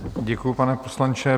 Děkuji, pane poslanče.